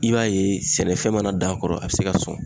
I b'a ye sɛnɛfɛn mana dan kɔrɔ a be se ka sɔn.